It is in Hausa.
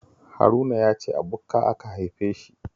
Haruna ya ce a bukka aka haife shi